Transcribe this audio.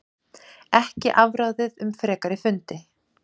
Ekkert afráðið um frekari fundi